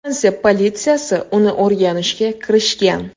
Fransiya politsiyasi uni o‘rganishga kirishgan.